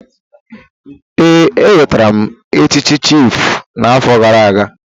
Ee, enwetara m echichi chiịfụ n'afọ gara aga.